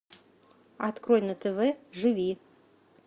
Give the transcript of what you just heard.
открой на тв живи